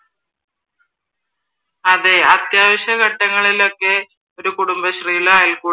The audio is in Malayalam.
അതെ അത്യാവശ്യ ഘട്ടങ്ങളിൽ ഒക്കെ ഒരു കുടുംബശ്രീയിലോ